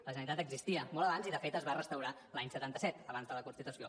la generalitat existia molt abans i de fet es va restaurar l’any setanta set abans de la constitució